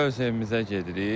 Öz evimizə gedirik.